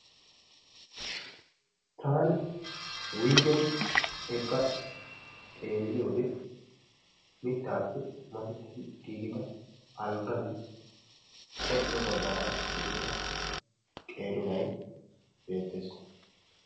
Taani wuygeni eqqa xeelliyoode mittaappe masettidi giigida alggaan qol"o baggaara zin"ida qeeri nay beettees.